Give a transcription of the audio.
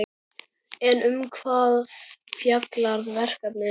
En um hvað fjallar verkið?